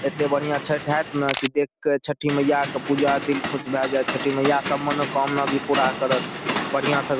एते बढ़िया छठ हात न कि देख के छठी मैया के पूजा दिल खुश भे जा छ छठी मैया सब मनो कामना भी पूरा करत बढ़िया से --